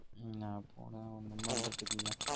என்ன போன ஒன்னும் பண்றதுக்கு இல்ல